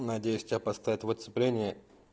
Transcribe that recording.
надеюсь тебя поставят в отцепление